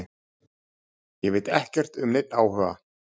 Ég veit ekkert um neinn áhuga.